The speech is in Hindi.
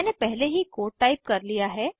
मैंने पहले ही कोड टाइप कर लिया है